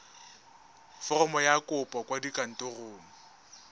foromo ya kopo kwa kantorong